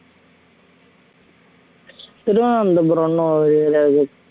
திருவனந்தபுரம் ஒரு